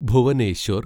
Bhubaneswar